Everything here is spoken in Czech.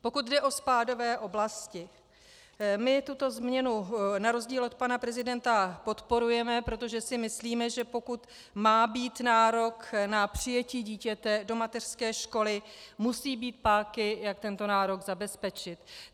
Pokud jde o spádové oblasti, my tuto změnu na rozdíl od pana prezidenta podporujeme, protože si myslíme, že pokud má být nárok na přijetí dítěte do mateřské školy, musí být páky, jak tento nárok zabezpečit.